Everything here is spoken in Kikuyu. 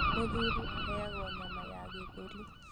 Mũthuri aheagwo nyama ya gĩthũri